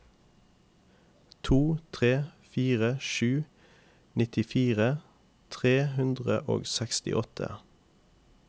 to tre fire sju nittifire tre hundre og sekstiåtte